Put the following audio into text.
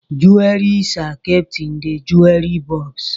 Jewelries are kept in the jewelry box.